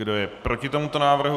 Kdo je proti tomuto návrhu?